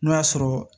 N'o y'a sɔrɔ